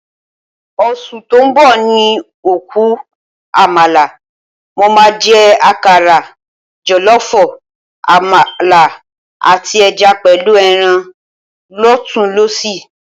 Oṣù tó ń bọ̀ ni òkú àmàlà. Mo máa jẹ àkàrà, jọ̀lọ́ọ̀fọ̀, àmàlà, àti ẹja pẹ̀lú ẹran lọ́tùnún-lósì